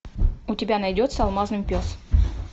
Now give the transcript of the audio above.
у тебя найдется алмазный пес